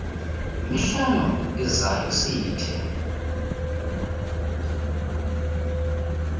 mihlanu izayo siyithe